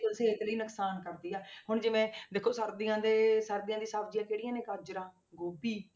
ਸਿਹਤ ਲਈ ਨੁਕਸਾਨ ਕਰਦੀ ਆ ਹੁਣ ਜਿਵੇਂ ਦੇਖੋ ਸਰਦੀਆਂ ਦੇ ਸਰਦੀਆਂ ਦੀ ਸਬਜ਼ੀਆਂ ਕਿਹੜੀਆਂ ਨੇ ਗਾਜ਼ਰਾਂ ਗੋਭੀ।